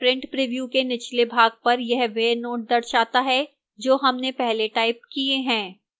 print preview के निचले भाग पर यह वह note दर्शाता है जो हमने पहले टाइप किए हैं